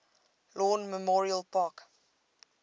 lawn memorial park